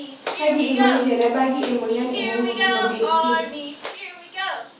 Kaji eikoni tenebaki emoyian e hemoglobin E?